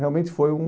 Realmente foi um...